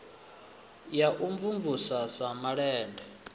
wa u mvumvusa sa malende